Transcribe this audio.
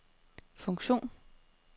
funktion